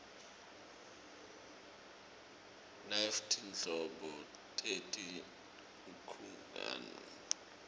nanyfti nhlobo teti nkhungn